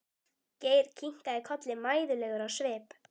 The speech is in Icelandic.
Geir kinkaði kolli mæðulegur á svip.